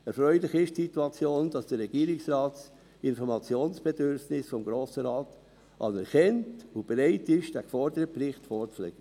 Erfreulich ist die Situation, dass der Regierungsrat das Informationsbedürfnis des Grossen Rates anerkennt und bereit ist, den geforderten Bericht vorzulegen.